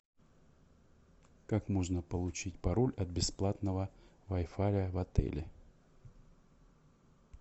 как можно получить пароль от бесплатного вай фая в отеле